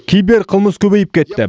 киберқылмыс көбейіп кетті